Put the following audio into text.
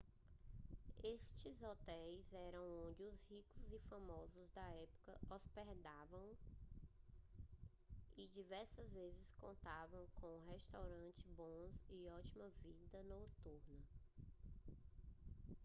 estes hotéis eram onde os ricos e famosos da época se hospedavam e diversas vezes contavam com restaurantes bons e ótima vida noturna